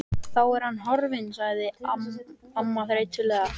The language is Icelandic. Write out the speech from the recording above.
Þá er hann horfinn sagði amman þreytulega.